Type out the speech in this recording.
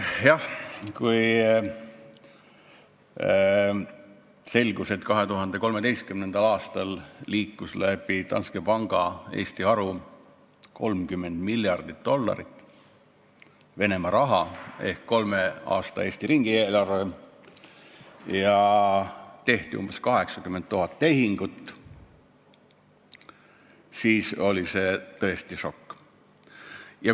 Jah, kui selgus, et 2013. aastal liikus läbi Danske panga Eesti haru 30 miljardit dollarit Venemaa raha ehk Eesti kolme aasta riigieelarve ja tehti umbes 80 000 tehingut, siis oli see tõesti šokk.